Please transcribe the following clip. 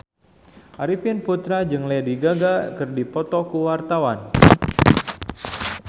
Arifin Putra jeung Lady Gaga keur dipoto ku wartawan